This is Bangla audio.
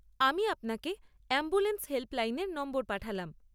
আমি আপনাকে অ্যাম্বুলেন্স হেল্পলাইনের নম্বর পাঠালাম।